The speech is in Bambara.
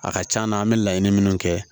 A ka c'an na an bɛ laɲini minnu kɛ